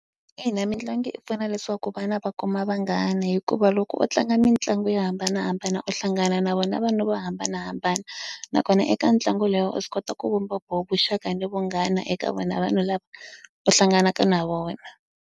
Ina mitlangu yi pfuna leswaku vana va kuma vanghana hikuva loko u tlanga mitlangu yo hambanahambana u hlangana na vona vanhu vo hambanahambana nakona eka ntlangu lowu u swi kota ku vumba vo vuxaka na vunghana eka vona vanhu lava u hlanganaka na vona.